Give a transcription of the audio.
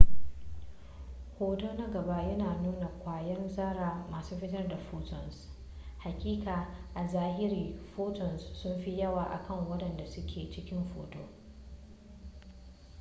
hoto na gaba yana nuna kwayan zarra masu fitar da photons hakika a zahiri photons sunfi yawa akan waɗanda suke cikin hoton